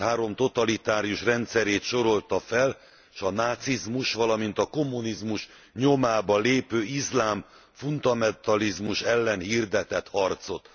század három totalitárius rendszerét sorolta fel, s a nácizmus, valamit a kommunizmus nyomába lépő iszlám fundamentalizmus ellen hirdetett harcot.